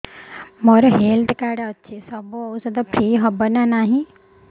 ମୋର health card ଅଛି ସବୁ ଔଷଧ ଫ୍ରି ହବ ନା ନାହିଁ